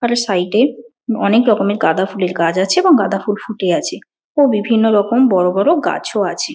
আর এর সাইড -এ অনেক রকম গাঁদা ফুলের গাছ আছে এবং গাঁদা ফুল ফুটে আছে ও বিভিন্ন রকম বড়ো বড়ো গাছও আছে।